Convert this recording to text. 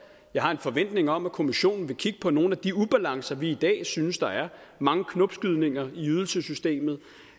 jeg har en forventning om at kommissionen vil kigge på nogle af de ubalancer vi i dag synes der er mange knopskydninger i ydelsessystemet